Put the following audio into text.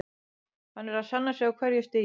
Hann er að sanna sig á hverju stigi.